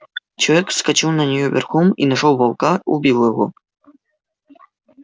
человек вскочил на неё верхом и нашёл волка убил его